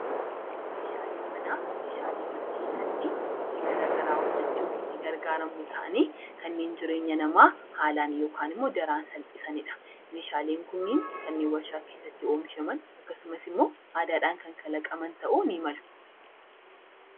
Meeshaaleen manaa meeshaalee mana keessatti hojii garaagaraa hojjachuuf itti gargaaramnu ta'anii kanneen jireenya namaa haalaan yookaan daran salphisanidha. Meeshaaleen kunneen kanneen warshaa keessatti oomishaman akkasumas immoo aadaadhaan kan kalaqaman ta'uu ni malu.